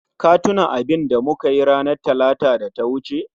Ka tuna abinda mukayi ranar Talata da ta wuce?